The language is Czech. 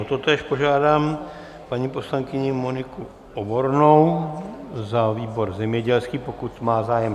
O totéž požádám paní poslankyni Moniku Obornou za výbor zemědělský, pokud má zájem.